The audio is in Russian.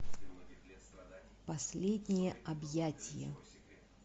последнее объятие